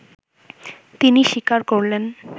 তিনি স্বীকার করলেন